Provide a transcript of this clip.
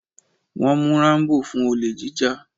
Wọ́n mú Rambo fún olè jíjà.